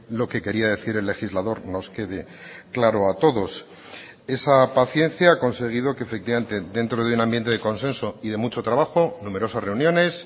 lo que quería decir el legislador nos quede claro a todos esa paciencia ha conseguido que efectivamente dentro de un ambiente de consenso y de mucho trabajo numerosas reuniones